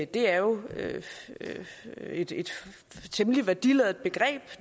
det er jo et temmelig værdiladet begreb